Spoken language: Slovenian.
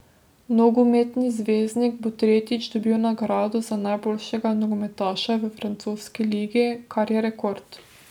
Nogometni zvezdnik bo tretjič dobil nagrado za najboljšega nogometaša v francoski ligi, kar je rekord.